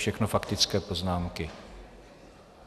Všechno faktické poznámky.